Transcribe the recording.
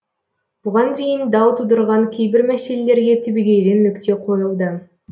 бұған дейін дау тудырған кейбір мәселелерге түбегейлі нүкте қойылды